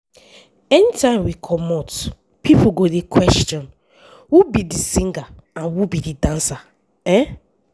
anytime we comot pipo go dey question who be di singer and who be di dancer i